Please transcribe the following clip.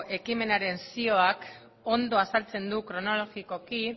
ekimenaren zioak ondo azaltzen du kronologikoki